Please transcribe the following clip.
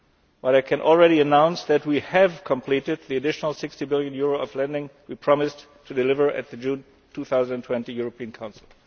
but I can already announce that we have completed the additional EUR 60 billion of lending we promised to deliver at the June 2012 European Council.